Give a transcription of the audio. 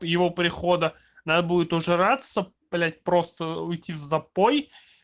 его прихода надо будет ужираться блять просто уйти в запой